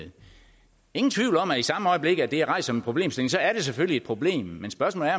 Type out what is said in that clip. ingen tvivl om at i samme øjeblik det er rejst som en problemstilling er det selvfølgelig et problem men spørgsmålet